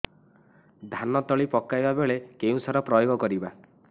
ଧାନ ତଳି ପକାଇବା ବେଳେ କେଉଁ ସାର ପ୍ରୟୋଗ କରିବା